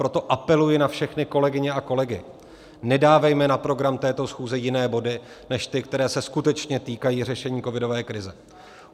Proto apeluji na všechny kolegyně a kolegy, nedávejme na program této schůze jiné body než ty, které se skutečně týkají řešení covidové krize.